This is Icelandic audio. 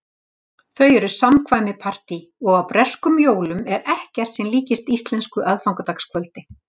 Þau eru samkvæmi- partí- og á breskum jólum er ekkert sem líkist íslensku aðfangadagskvöldi.